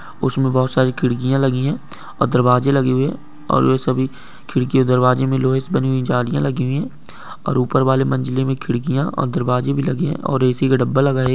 उसमे बहोत सारी खिड़किया लगी है और दरवाजे लगे हुए है और सभी खिड़की और दरवाजे मे लोहे की बनी हुई जालिया लगी हुई है और ऊपर बाले मंजिले में खिड़किया और दरवाजे भी लगे हैं और ए_सी का डब्बा लगा हे एक--